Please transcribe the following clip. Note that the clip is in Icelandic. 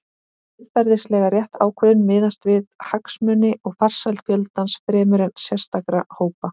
Siðferðilega rétt ákvörðun miðast því við hagsmuni og farsæld fjöldans fremur en sérstakra hópa.